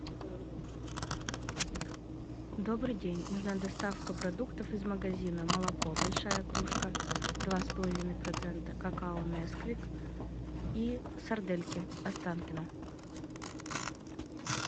добрый день нужна доставка продуктов из магазина молоко большая кружка два с половиной процента какао несквик и сардельки останкино